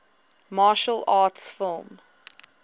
martial arts film